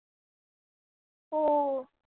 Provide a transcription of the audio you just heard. हो.